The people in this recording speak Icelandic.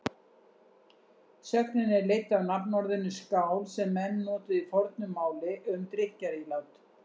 Sögnin er leidd af nafnorðinu skál sem menn notuðu í fornu máli um drykkjarílát.